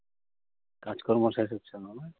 কাজকর্ম শেষ হচ্ছে না, না?